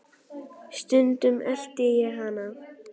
Stundum elti ég hana.